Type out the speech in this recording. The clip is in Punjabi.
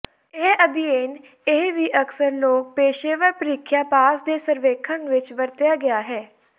ਇਹ ਅਧਿਐਨ ਇਹ ਵੀ ਅਕਸਰ ਲੋਕ ਪੇਸ਼ੇਵਰ ਪ੍ਰੀਖਿਆ ਪਾਸ ਦੇ ਸਰਵੇਖਣ ਵਿੱਚ ਵਰਤਿਆ ਗਿਆ ਹੈ